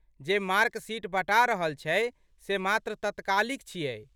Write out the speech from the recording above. जे mark sheet बँटा रहल छै से मात्र तत्कालिक छियै।